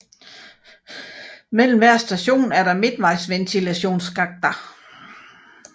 Mellem hver station er der midtvejsventilationsskakter